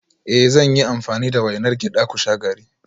Eh zan yi amfani da wainar gyada ku sha garri